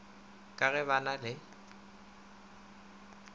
ka ge ba na le